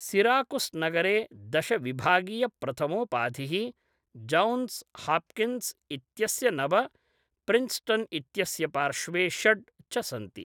सिराकुस्नगरे दश विभागीयप्रथमोपाधिः, Johns Hopkins इत्यस्य नव, प्रिन्स्टन् इत्यस्य पार्श्वे षड् च सन्ति।